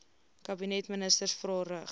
kabinetministers vrae rig